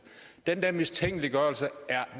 den der mistænkeliggørelse er